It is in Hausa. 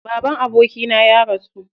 Baban abokina ya rasu.